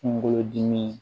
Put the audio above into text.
Kungolo dimi